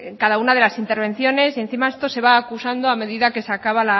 cada una de las intervenciones y encima esto se va acusando a medida que se acaba